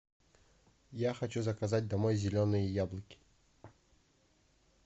я хочу заказать домой зеленые яблоки